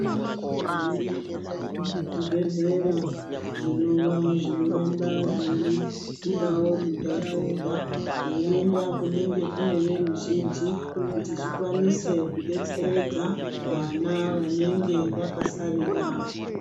Zviriyo zvibhendera zvinova zvinoramba zvei budawo mundaraunda zveienda kunenge kuneveruzhinji kuti zvikwanise kudetseredza vana vanenge vakasarira